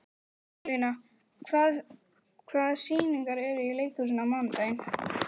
Sigurlína, hvaða sýningar eru í leikhúsinu á mánudaginn?